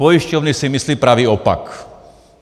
Pojišťovny si myslí pravý opak.